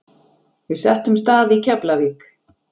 Við settumst að í Keflavík.